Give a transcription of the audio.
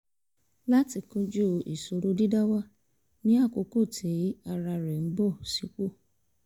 láti kojú ìṣòro dídá wà ní àkókò tí ara rẹ̀ ń bọ̀ sí pò